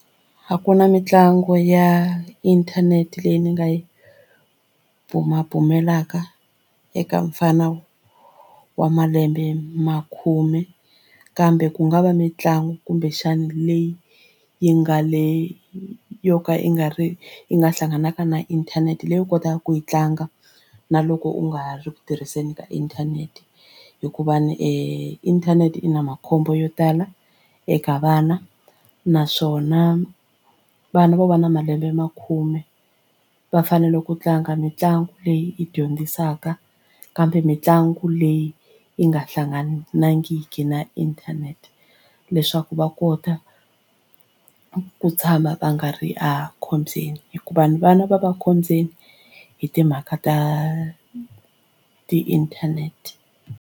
A ku na mitlangu ya inthanete leyi ni nga yi bumabumelaka eka mufana wa malembe ma khume kambe ku nga va mitlangu kumbexana leyi yi nga le yo ka yi nga ri yi nga hlanganaka na inthanete leyi u kotaka ku yi tlanga na loko u nga ri ku tirhiseni ka inthanete hikuva ni internet i na makhombo yo tala eka vana naswona vana vo va na malembe makhume va fanele ku tlanga mitlangu leyi yi dyondzisaka kambe mitlangu leyi yi nga hlanganangi na inthanete leswaku va kota ku tshama va nga ri a khombyeni hikuva vana va va ekhombyeni hi timhaka ta ti-internet.